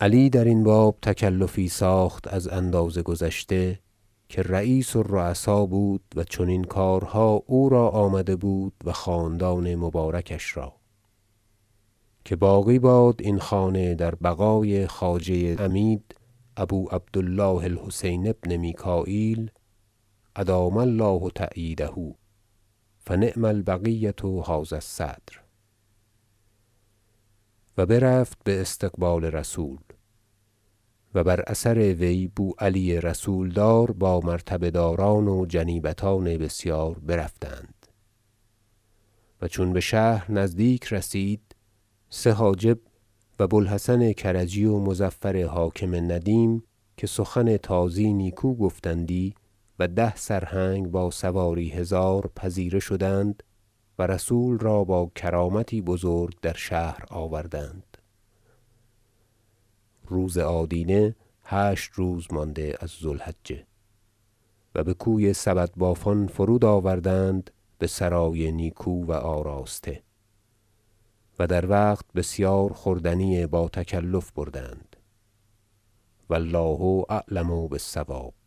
علی درین باب تکلفی ساخت از اندازه گذشته که رییس الرؤسا بود و چنین کارها او را آمده بود و خاندان مبارکش را که باقی باد این خانه در بقای خواجه عمید ابو عبد الله الحسین بن میکاییل ادام الله تأییده فنعم البقیة هذا الصدر و برفت باستقبال رسول و بر اثر وی بوعلی رسولدار با مرتبه داران و جنیبتان بسیار برفتند و چون بشهر نزدیک رسید سه حاجب و بو الحسن کرجی و مظفر حاکم ندیم که سخن تازی نیکو گفتندی و ده سرهنگ با سواری هزار پذیره شدند و رسول را با کرامتی بزرگ در شهر آوردند روز آدینه هشت روز مانده از ذو الحجة و بکوی سبدبافان فرود آوردند بسرای نیکو و آراسته و در وقت بسیار خوردنی با تکلف بردند و الله اعلم بالصواب